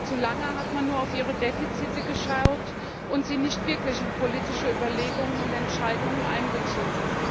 Zu lange hat man nur auf ihre Defizite geschaut und sie nicht wirklich in politische Überlegungen und Entscheidungen einbezogen.